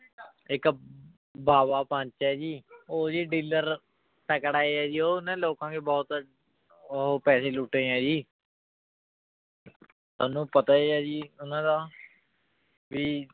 ਇੱਕ ਬਾਵਾ ਪੰਚ ਹੈ ਜੀ ਉਹ ਜੀ dealer ਤਕੜਾ ਹੈ ਜੀ ਉਹਨੇ ਲੋਕਾਂ ਕੇ ਬਹੁਤ ਉਹ ਪੈਸੇ ਲੁੱਟੇ ਹੈ ਜੀ ਤੁਹਾਨੂੰ ਪਤਾ ਹੀ ਹੈ ਜੀ ਉਹਨਾਂ ਦਾ ਵੀ